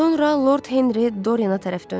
Sonra Lord Henry Dorian tərəf döndü.